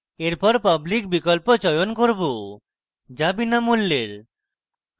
এরপর public বিকল্প চয়ন করব যা বিনামূল্যের